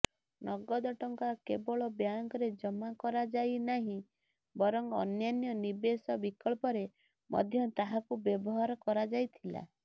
ନଗଦ ଟଙ୍କା କେବଳ ବ୍ୟାଙ୍କରେ ଜମା କରାଯାଇନାହିଁ ବରଂ ଅନ୍ୟାନ୍ୟ ନିବେଶ ବିକଳ୍ପରେ ମଧ୍ୟ ତାହାକୁ ବ୍ୟବହାର କରାଯାଇଥିଲା